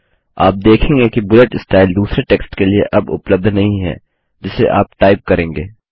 आप देखेंगे कि बुलेट स्टाइल दूसरे टेक्स्ट के लिए अब उपलब्ध नहीं है जिसे आप टाइप करेंगे